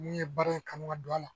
N'i ye baara in kanu ka don a la